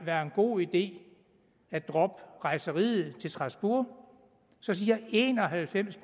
være en god idé at droppe rejseriet til strasbourg så siger en og halvfems